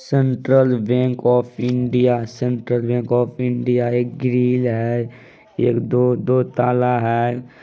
Central bank of India central bank of India. एक grill है एक दो दो ताला है।